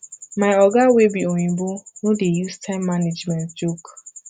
my oga wey be oyimbo no dey use time management joke